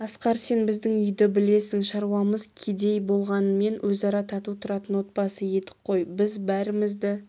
асқар сен біздің үйді білесің шаруамыз кедей болғанмен өзара тату тұратын отбасы едік қой біз бәрімізді